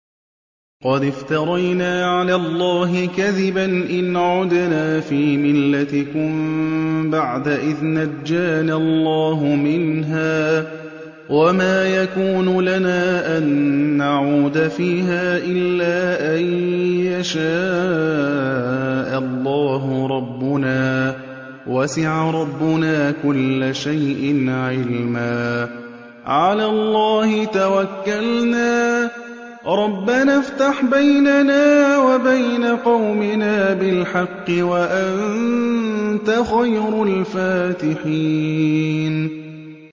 قَدِ افْتَرَيْنَا عَلَى اللَّهِ كَذِبًا إِنْ عُدْنَا فِي مِلَّتِكُم بَعْدَ إِذْ نَجَّانَا اللَّهُ مِنْهَا ۚ وَمَا يَكُونُ لَنَا أَن نَّعُودَ فِيهَا إِلَّا أَن يَشَاءَ اللَّهُ رَبُّنَا ۚ وَسِعَ رَبُّنَا كُلَّ شَيْءٍ عِلْمًا ۚ عَلَى اللَّهِ تَوَكَّلْنَا ۚ رَبَّنَا افْتَحْ بَيْنَنَا وَبَيْنَ قَوْمِنَا بِالْحَقِّ وَأَنتَ خَيْرُ الْفَاتِحِينَ